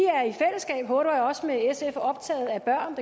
er optaget af børn